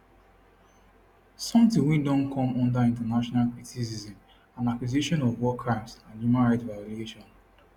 sometin wey don come under international criticism and accusations of war crimes and human rights violation